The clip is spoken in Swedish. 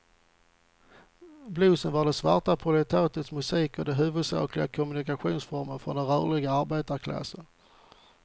Bluesen var det svarta proletariatets musik och den huvudsakliga kommunikationsformen för den rörliga arbetarklassen.